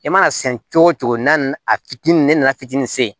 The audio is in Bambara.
I mana se cogo o cogo n'a nana a fitinin ne nana fitinin se